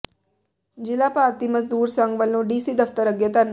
ਜ਼ਿਲ੍ਹਾ ਭਾਰਤੀ ਮਜ਼ਦੂਰ ਸੰਘ ਵੱਲੋਂ ਡੀਸੀ ਦਫ਼ਤਰ ਅੱਗੇ ਧਰਨਾ